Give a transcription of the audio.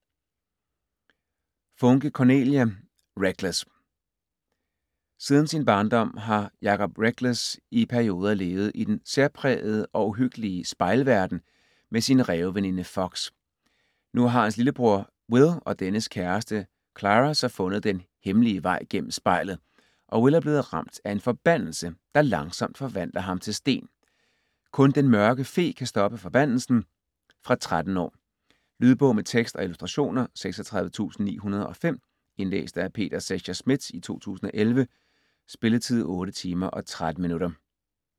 Funke, Cornelia: Reckless Siden sin barndom har Jacob Reckless i perioder levet i den særprægede og uhyggelige Spejlverden med sin ræveveninde Fox. Nu har hans lillebror Will og dennes kæreste Clara så fundet den hemmelige vej gennem spejlet, og Will er blevet ramt af en forbandelse, der langsomt forvandler ham til sten. Kun Den Mørke Fe kan stoppe forbandelsen. Fra 13 år. Lydbog med tekst og illustrationer 36905 Indlæst af Peter Secher Schmidt, 2011. Spilletid: 8 timer, 13 minutter.